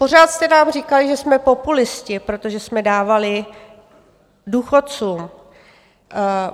Pořád jste nám říkali, že jsme populisté, protože jsme dávali důchodcům.